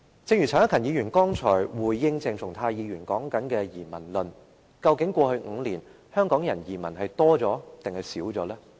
正如陳克勤議員剛才回應鄭松泰議員的發言時提出移民論，究竟在過去5年，香港人移民的數目是增加了，還是減少了？